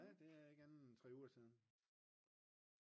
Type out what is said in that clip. ja det er ikke andet end en 3 uger siden